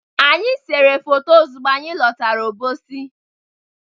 Anyị selu foto ozugbo anyị lọtara Obosi.